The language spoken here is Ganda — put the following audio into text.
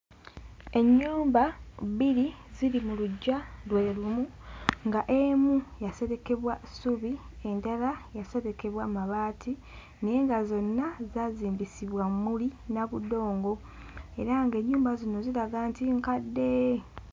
Ennyumba bbiri ziri mu luggya lwe lumu nga emu yaserekebwa ssubi endala yaserekebwa mabaati naye nga zonna zaazimbisibwa mmuli na budongo era ng'ennyumba zino ziraga nti nkadde.